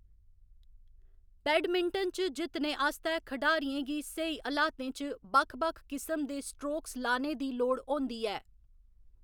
Badminton च जित्तने आस्तै, खढारियें गी स्हेई हलातें च बक्ख बक्ख किसम दे स्ट्रोक्स लाने दी लोड़ होंदी ऐ।